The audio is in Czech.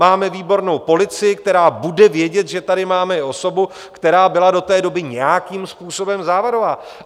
Máme výbornou policii, která bude vědět, že tady máme i osobu, která byla do té doby nějakým způsobem závadová.